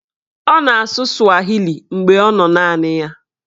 Ọ na-asụ swahili mgbe ọ nọ naanị ya.